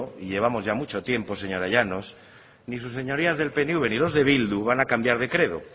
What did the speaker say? y llevamos ya mucho tiempo señora llanos ni sus señorías del pnv ni los de bildu van a cambiar de credo